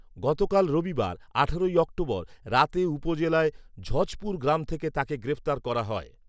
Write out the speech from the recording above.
গতকাল রবিবার আঠারোই অক্টোবর রাতে উপজেলার ঝযপুর গ্রাম থেকে তাকে গ্রেফতার করা হয়